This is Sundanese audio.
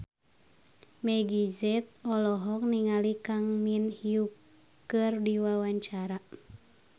Meggie Z olohok ningali Kang Min Hyuk keur diwawancara